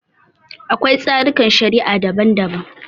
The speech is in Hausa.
Akwai tsarikan shari'a daban-daban.